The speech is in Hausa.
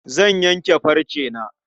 Zan yanke farcena.